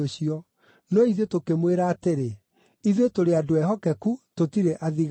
No ithuĩ tũkĩmwĩra atĩrĩ, ‘Ithuĩ tũrĩ andũ ehokeku; tũtirĩ athigaani.